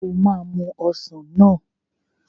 O máa mu ọsàn náà.